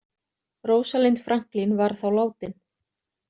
Rosalind Franklin var þá látin.